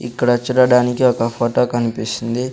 ఇక్కడ చూడడానికి ఒక ఫొటో కనిపిస్తుంది.